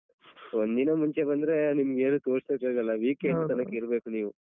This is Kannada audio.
ಒಂದ್ ದಿನ ಮುಂಚೆ ಬಂದ್ರೆ ನಿಮ್ಗೇನು ತೋರ್ಸಕ್ಕಾಗಲ್ಲ ತನಕ್ ಇರ್ಬೇಕು ನೀವು.